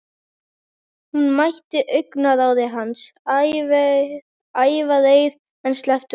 Hún mætti augnaráði hans, ævareið, en sleppti honum þó.